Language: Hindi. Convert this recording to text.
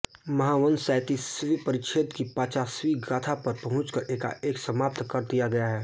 महावंस सैंतीसवें परिच्छेद की पचासवीं गाथा पर पहुँचकर एकाएक समाप्त कर दिया गया है